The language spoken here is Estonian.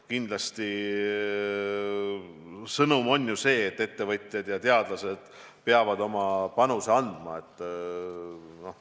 Kindlasti sõnum on see, et ettevõtjad ja teadlased peavad oma panuse andma.